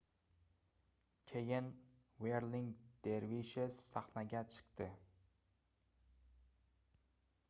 keyin wherling dervishes sahnaga chiqdi